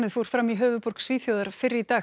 fór fram í höfuðborg Svíþjóðar fyrr í dag